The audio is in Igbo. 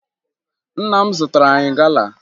Nna m zụtara anyị gala